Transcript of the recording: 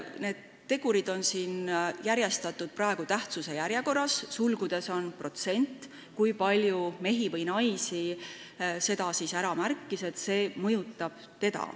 Need tegurid on järjestatud tähtsuse järjekorras, sulgudes on protsent, kui palju mehi või naisi märkis, et see teda mõjutab.